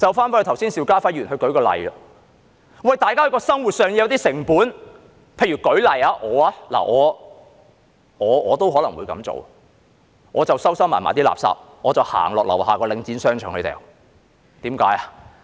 以剛才邵家輝議員列舉的例子來說，大家在生活上會有些成本，我也可能會這樣做，就是把垃圾收藏起來，再走到樓下的領展商場棄置。